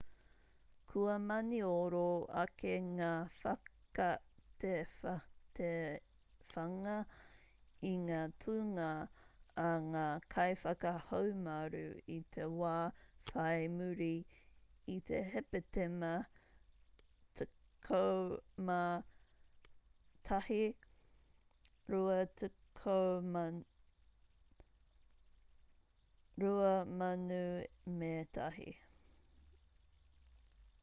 kua manioro ake ngā whakatewhatewhanga i ngā tūngā a ngā kaiwhakahaumaru i te wā whai muri i te hepetema 11 2001